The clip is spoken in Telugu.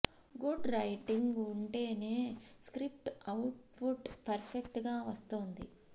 గుడ్ రైటింగ్ ఉంటేనే స్క్రిప్ట్ అవుట్ ఫుట్ పర్ఫెక్ట్ గా వస్తోంది